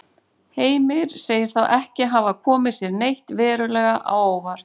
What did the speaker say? Heimir sagði þá ekki hafa komið sér neitt verulega á óvart.